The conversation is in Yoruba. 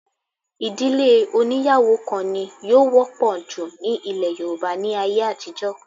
Ìdílé oní́yàwó kan ni yóò wọ́pọ̀ jù ní ilẹ̀ Yorùbá ní ayé àtijọ́